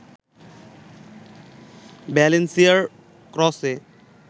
ভ্যালেন্সিয়ার ক্রসে